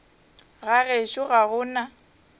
ga gešo ga go na